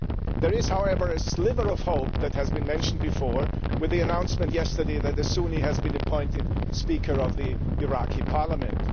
There is, however, a sliver of hope that has been mentioned before with the announcement yesterday that a Sunni has been appointed Speaker of the Iraqi Parliament.